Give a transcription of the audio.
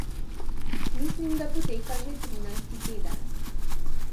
Mislim, da poteka že trinajsti teden...